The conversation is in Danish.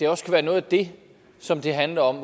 også kan være noget af det som det handler om